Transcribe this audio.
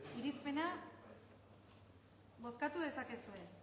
irizpena bozkatu dezakezue